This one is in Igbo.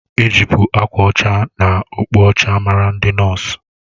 Ejibu akwa ọcha na okpu ọcha mara ndị nọọsu